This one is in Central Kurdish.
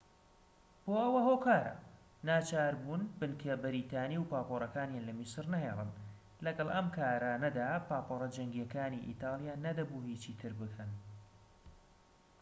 بۆ ئەو هۆکارە ناچاربوون بنکە بەریتانی و پاپۆرەکانیان لە میسر نەهێڵن لەگەڵ ئەم کارانەدا پاپۆرە جەنگیەکانی ئیتالیا نەدەبوو هیچی تر بکەن